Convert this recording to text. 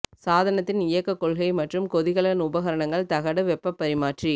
சாதனத்தின் இயக்க கொள்கை மற்றும் கொதிகலன் உபகரணங்கள் தகடு வெப்பப் பரிமாற்றி